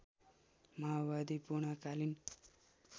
माओवादी पूर्णकालीन